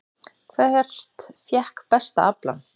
Hvert fékk besta aflann?